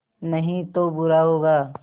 नहीं तो बुरा होगा